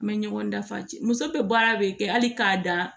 N bɛ ɲɔgɔn dafa cɛ muso bɛ baara de kɛ hali k'a dan